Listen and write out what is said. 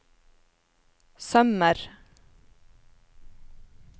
sømmer